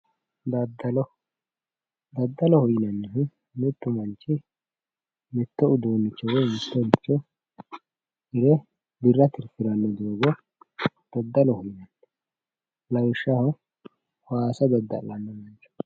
daddalo daddaloho yinannihu mittu manchi mitto uduunnicho woy mittoricho hire birra tirfiranno gara daddaloho yinanni lawishshaho waasa dadda'la ikkitanno.